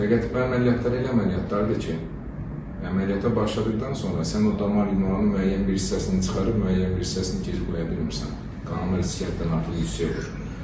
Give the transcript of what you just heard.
Fəqət bu əməliyyatlar elə əməliyyatlardır ki, əməliyyata başladıqdan sonra sən o damar yumağının müəyyən bir hissəsini çıxarıb, müəyyən bir hissəsini geri qoya bilmirsən, qanama riski həddindən artıq yüksək olur.